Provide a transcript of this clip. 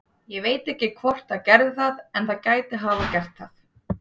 Ég veit ekki hvort það gerði það en það gæti hafa gert það.